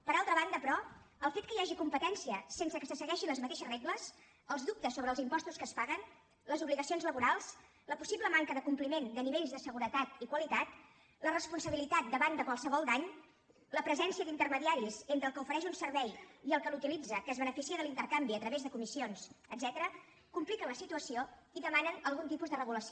per altra banda però el fet que hi hagi competència sense que se segueixin les mateixes regles els dubtes sobre els impostos que es paguen les obligacions laborals la possible manca de compliment de nivells de seguretat i qualitat la responsabilitat davant de qualsevol dany la presència d’intermediaris entre el que ofereix un servei i el que l’utilitza que es beneficia de l’intercanvi a través de comissions etcètera compliquen la situació i demanen algun tipus de regulació